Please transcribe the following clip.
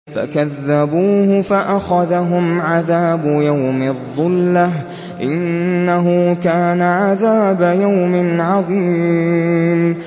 فَكَذَّبُوهُ فَأَخَذَهُمْ عَذَابُ يَوْمِ الظُّلَّةِ ۚ إِنَّهُ كَانَ عَذَابَ يَوْمٍ عَظِيمٍ